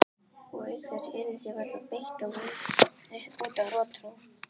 Og auk þess yrði því varla beitt út af rotþró.